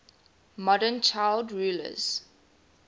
modern child rulers